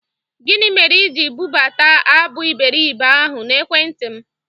Gini mere ị ji bụbata abụ Iberibe ahụ n'Ekwentị m?